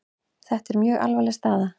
Þetta er mjög alvarleg staða.